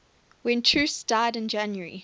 when troost died on january